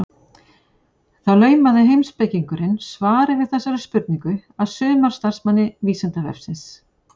Þá laumaði heimspekingurinn svari við þessari spurningu að sumarstarfsmanni Vísindavefsins.